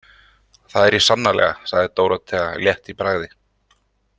Það er ég sannarlega, sagði Dórótea létt í bragði.